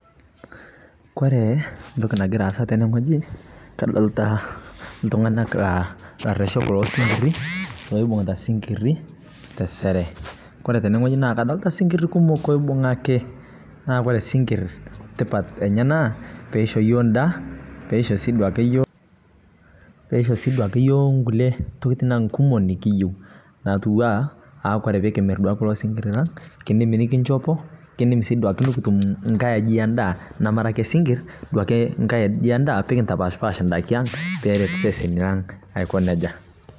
Kore ntoki nagiraa aasa tene ng'ojii kadolitaa ltung'anak laa lareshok losinkirii loibung'itaa sinkirii teseree kore tenee ng'ojii naa kadolitaa sinkirii kumok oleng' loibung'akii naa koree sinkir tipat enyee naa peisho yoo ndaa peisho sii duake yooh nkulie tokitina ang' kumoo nikiyeu natuwaa aaakore pikimir duake kuloo sinkirii lang' kindim nikinshopoo kindim sii duakee nikitum ng'ai ajii endaa namaraa akee sinkir duakee nga'ai aji endaa aa pikintapaashpash ndaki ang' peret seseni lang' aikoo nejaa.